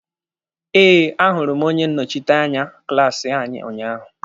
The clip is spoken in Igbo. Eh, a hụrụ m onye nnọchiteanya klaasi anyị unyaahụ.